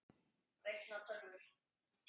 Reikna- tölvur